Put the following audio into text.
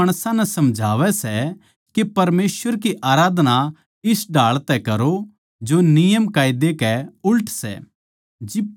यो माणसां नै समझावै सै के परमेसवर की आराधना इस ढाळ तै करो जो नियमकायदे कै उल्ट सै